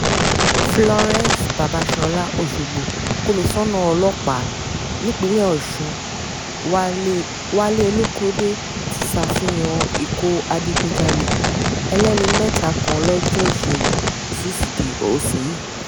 florence babàsọ́lá ọ̀ṣọ́gbó kómísánná ọlọ́pàá nípìnlẹ̀ ọ̀sun wálé wálé olókóde ti ṣàfihàn ik̀o adigunjalè ẹlẹ́ni-mẹ́ta kan lọ́jọ́ ìṣẹ́gun túṣídéé ọ̀sẹ̀ yìí